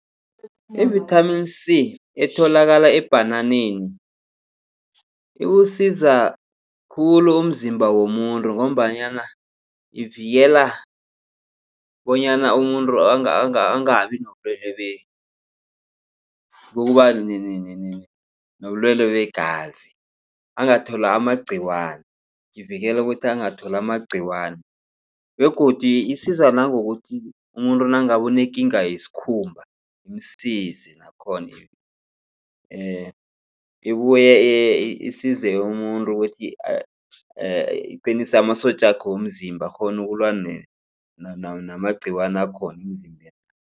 Ivithamini C etholakala ebhananeni iwusiza khulu umzimba womuntu. Ngombanyana ivikela bonyana umuntu angabi nobulwele begazi angatholi amagciwani. Ivikela ukuthi angatholi amagciwani begodu isiza nangokuthi umuntu nangabe unekinga yesikhumba imsize nakhona. Ibuye isize umuntu ukuthi iqinise amasotjakhe womzimba akghone ukulwa namagciwane akhona emzimbeni